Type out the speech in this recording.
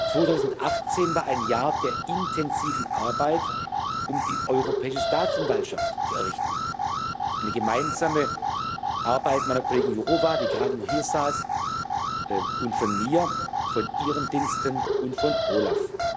2018 war ein Jahr der intensiven Arbeit, um die Europäische Staatsanwaltschaft zu errichten eine gemeinsame Arbeit meiner Kollegin Jourová, die gerade noch hier saß, und von mir, von Ihren Diensten und von OLAF.